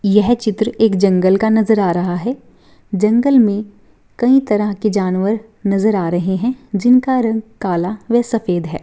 यह चित्र एक जंगल का नजर आ रहा है जंगल में कई तरह के जानवर नजर आ रहे हैं जिनका रंग काला व सफेद हैं।